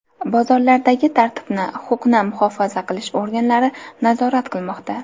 Bozorlardagi tartibni huquqni muhofaza qilish organlari nazorat qilmoqda.